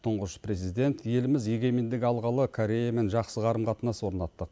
тұңғыш президент еліміз егемендік алғалы кореямен жақсы қарым қатынас орнаттық